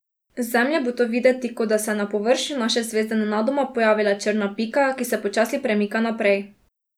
Z Zemlje bo to videti, kot da se je na površju naše zvezde nenadoma pojavila črna pika, ki se počasi premika naprej.